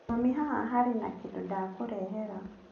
Mami haha harĩ na kĩndũ ndakũrehera.